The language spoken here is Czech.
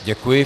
Děkuji.